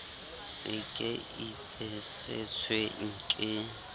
se ke itse setsweng ke